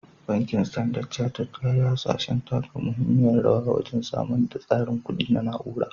Bankin Standard Chartered ya yi hasashen taka muhimmiyar rawa wajen samar da tsarin kuɗi na na'ura.